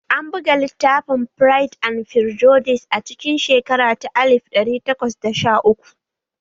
An buga littafin 'Firide and Firjudis' a cikin shekara ta alif ɗari takwas da sha uku